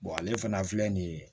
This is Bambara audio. ale fana filɛ nin ye